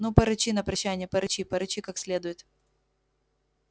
ну порычи на прощанье порычи порычи как следует